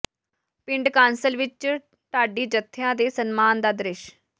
ਪਿੰਡ ਕਾਂਸਲ ਵਿੱਚ ਢਾਡੀ ਜਥਿਆਂ ਦੇ ਸਨਮਾਨ ਦਾ ਦ੍ਰਿਸ਼